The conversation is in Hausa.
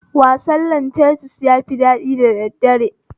Wasan lantanis yafi daɗi da daddare